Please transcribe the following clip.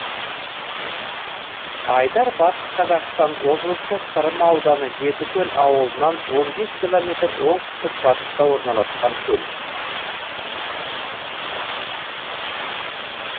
айдар батыс қазақстан облысы сырым ауданы жетікөл ауылынан он бес километр оңтүстік батыста орналасқан көл